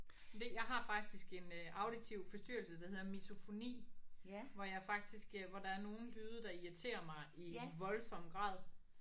Det jeg har faktisk en auditiv forstyrrelse der hedder misofoni hvor jeg fakitsk øh hvor der er nogle lyde der irriterer mig i voldsom grad